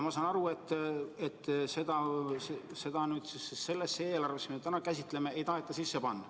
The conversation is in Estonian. Ma saan aru, et seda sellesse eelarvesse, mida me täna käsitleme, ei taheta sisse panna.